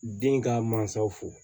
Den ka mansaw fo